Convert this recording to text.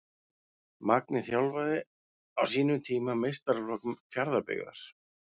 Magni þjálfaði á sínum tíma meistaraflokk Fjarðabyggðar.